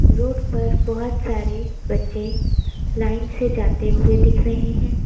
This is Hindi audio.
रोड पर बहुत सारे बच्चे लाइन से जाते हुए दिख रहे हैं।